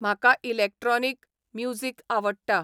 म्हाका electronic music आवडटा